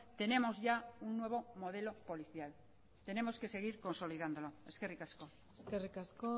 tenemos ya un nuevo modelo policial tenemos que seguir consolidándolo eskerrik asko eskerrik asko